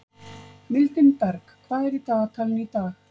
Mildinberg, hvað er í dagatalinu í dag?